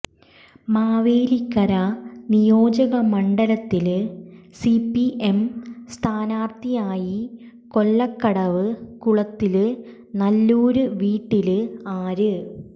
മാവേലിക്കര നിയോജകമണ്ഡലത്തില് സിപിഎം സ്ഥാനാര്ഥിയായി കൊല്ലകടവ് കുളത്തില് നല്ലൂര് വീട്ടില് ആര്